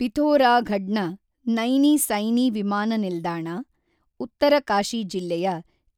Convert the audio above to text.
ಪಿಥೋರಾಘಡ್‌ನ ನೈನಿ ಸೈನಿ ವಿಮಾನ ನಿಲ್ದಾಣ, ಉತ್ತರಕಾಶಿ ಜಿಲ್ಲೆಯ